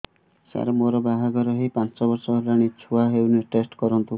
ସାର ମୋର ବାହାଘର ହେଇ ପାଞ୍ଚ ବର୍ଷ ହେଲାନି ଛୁଆ ହେଇନି ଟେଷ୍ଟ କରନ୍ତୁ